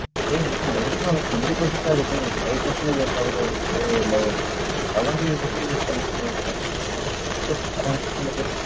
சேரி madam. அதுக்குன்னு ஒரு twenty percent ஆ எடுப்பீங்க. ஒரு five percentage எடுத்தாகூட okay இல்ல ஒரு seventy five percentage